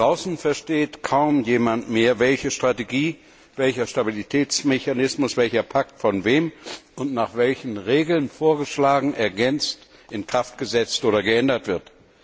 Draußen versteht kaum jemand mehr, welche Strategie, welcher Stabilitätsmechanismus, welcher Pakt von wem und nach welchen Regeln vorgeschlagen, ergänzt, in Kraft gesetzt oder geändert wird.